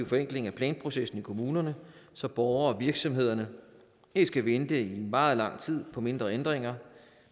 forenkling af planprocessen i kommunerne så borgere og virksomheder ikke skal vente i meget lang tid på mindre ændringer